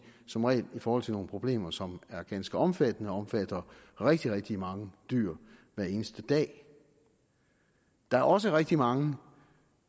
som regel i forhold til nogle problemer som er ganske omfattende og omfatter rigtig rigtig mange dyr hver eneste dag der er også rigtig mange